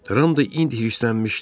Ram da indi hirslənmişdi.